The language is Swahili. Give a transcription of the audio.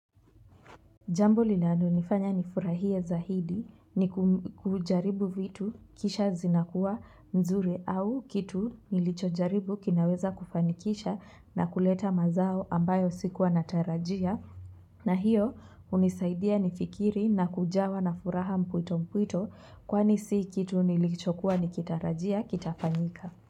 Jambo linalo nifanya ni furahie za hidi ni kujaribu vitu kisha zinakuwa nzuri au kitu nilichojaribu kinaweza kufanikisha na kuleta mazao ambayo sikuwa natarajia. Na hiyo hunisaidia nifikiri na kujawa na furaha mpwito mpwito kwani si kitu nilicho kuwa nikitarajia kitafanyika.